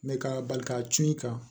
Mɛ ka bali ka cun i kan